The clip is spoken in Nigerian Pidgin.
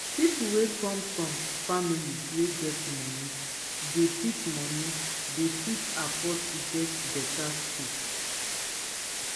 pipo wey come from family wey get money dey fit money dey fit afford to go better school